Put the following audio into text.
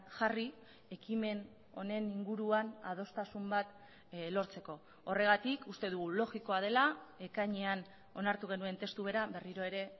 jarri ekimen honen inguruan adostasun bat lortzeko horregatik uste dugu logikoa dela ekainean onartu genuen testu bera berriro ere